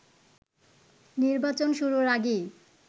নির্বাচন শুরুর আগেই